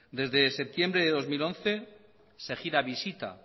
desde septiembre de dos mil once se gira visita